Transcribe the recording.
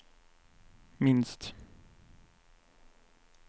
minst